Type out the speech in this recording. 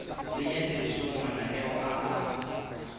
tsenya tirisong mananeo a a